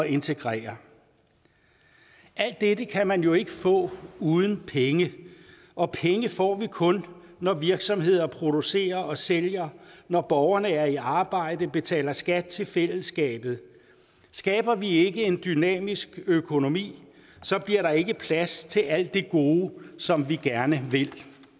integrere alt dette kan man jo ikke få uden penge og penge får vi kun når virksomheder producerer og sælger når borgerne er i arbejde og betaler skat til fællesskabet skaber vi ikke en dynamisk økonomi bliver der ikke plads til alt det gode som vi gerne vil